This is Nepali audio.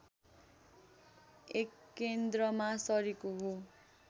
एकेन्द्रमा सरेको हो